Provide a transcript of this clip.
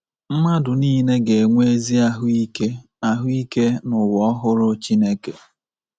Mmadụ nile ga-enwe ezi ahụ ike ahụ ike n’ụwa ọhụrụ Chineke.